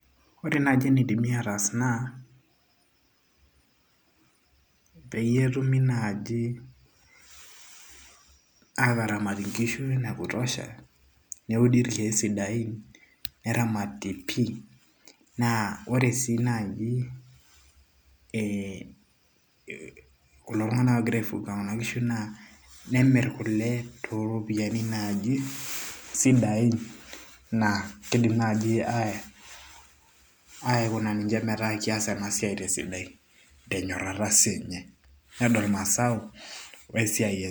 ore naaji enidimi ataas naa peyie etumi naaji ataramat inkishu ene kutosha neudi irkeek sidain neramati pii naa ore sii naaji ee kulo tung; anak oogira aifuga kuna kishu naa nemirr kule tooropiyiani naaji sidain naa kidim naaji aikuna ninche metaa kias ena siai tesidai o tenyorata siininye peedol masao o esiai enye.